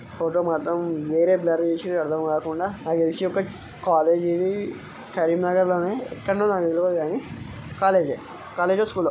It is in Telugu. ఫోటో మాత్రం వేరే బ్లర్ చేసిరు అర్ధం కాకుండా ఒకటి కాలేజీ ఇది కరీంనగర్ లోనే ఎక్కడనో నాకు తెల్వదు కానీ కాలేజీ యే కాలేజా స్కూల్లో.